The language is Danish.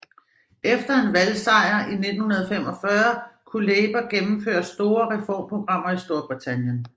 Efter en valgsejr i 1945 kunne Labour gennemføre store reformprogrammer i Storbritannien